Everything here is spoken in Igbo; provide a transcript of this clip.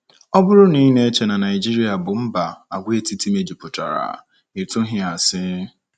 Ọ bụrụ na i na-eche na Naịjirịa bụ mba àgwàetiti mejupụtara, i tụghị asi.